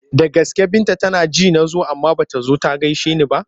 Da gaske Binta tana ji na zo amma ba ta zo ta gaishe ni ba?